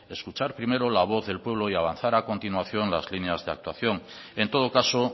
escuchar primero la voz del pueblo y avanzar a continuación las líneas de actuación en todo caso